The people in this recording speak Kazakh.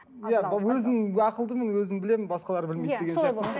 иә өзім ақылдымын өзім білемін басқалар білмейді деген сияқты ғой